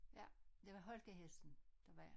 Ja det var holkahesten der var